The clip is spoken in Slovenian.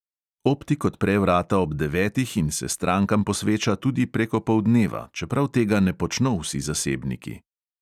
Optik odpre vrata ob devetih in se strankam posveča tudi prek opoldneva, čeprav tega ne počno vsi zasebniki.